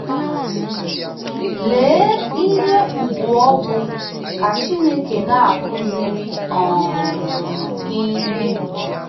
Lee ihe ùgwù ọ bụ ka Chineke na-akụziri um gị ihe!